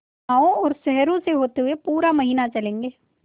गाँवों और शहरों से होते हुए पूरा महीना चलेंगे